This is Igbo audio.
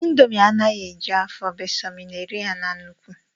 indomi anaghị eju afọ bee sọ ma ị na-eri ya na nnukwu